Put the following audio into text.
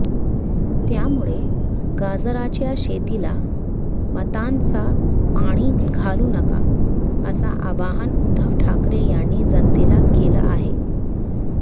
त्यामुळे गाजराच्या शेतीला मतांचं पाणी घालू नका अस आवाहन उद्धव ठाकरे यांनी जनतेला केलं आहे